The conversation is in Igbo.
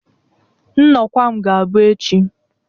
Nọkwa m ga-abụ echi